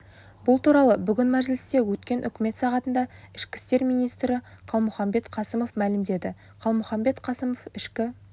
бұл туралы бүгін мәжілісте өткен үкімет сағатында ішкі істер министрі қалмұханбет қасымов мәлімдеді қалмұханбет қасымов ішкі